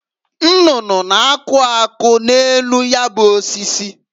Nnụnụ na-akụ akwụ n'enu ya bụ osisi.